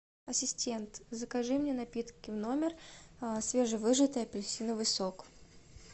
ассистент закажи мне напитки в номер свежевыжатый апельсиновый сок